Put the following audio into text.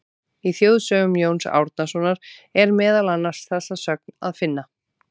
Í Þjóðsögum Jóns Árnasonar er meðal annars þessa sögn að finna: